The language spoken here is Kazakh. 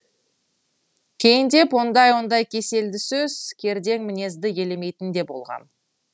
кейіндеп ондай ондай кеселді сөз кердең мінезді елемейтін де болғам